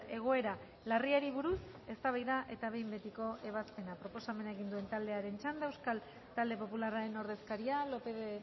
egoera larriari buruz eztabaida eta behin betiko ebazpena proposamena egin duen taldearen txanda euskal talde popularraren ordezkaria lópez de